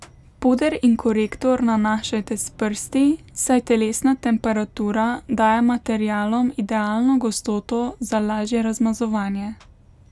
Puder in korektor nanašajte s prsti, saj telesna temperatura daje materialom idealno gostoto za lažje razmazovanje.